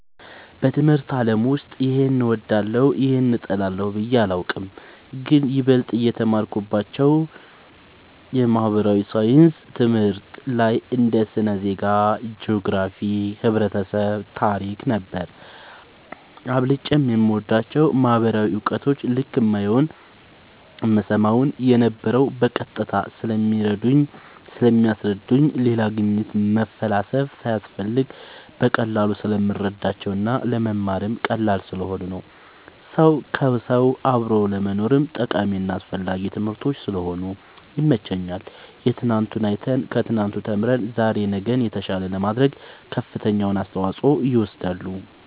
በትምህርት አለም ውስጥ ይሄን እወዳለሁ ይህን እጠላለሁ ብየ አላቅም ግን ይበልጥ እማተኩርባቸው የማህበራዊ ሣይንስ ትምህርቶች ላይ እንደ ስነ ዜጋ ,ጅኦግራፊክስ ,ህብረተሰብ ,ታሪክ ነበር አብልጨም የምወዳቸው ማህበራዊ እውቀት ልክ እማየውን እምሰማውን የነበረው በቀጥታ ስለሚያስረዱኝ ሌላ ግኝት መፈላሰፍ ሳያስፈልግ በቀላሉ ስለምረዳቸው እና ለመማርም ቀላል ስለሆኑ ነው ሰው ከውሰው አብሮ ለመኖርም ጠቃሚና አስፈላጊ ትምህርቶች ስለሆኑ ይመቸኛል የትናንቱን አይተን ከትናንቱ ተምረን ዛሬ ነገን የተሻለ ለማድረግ ከፍተኛውን አስተዋፅኦ ይወስዳሉ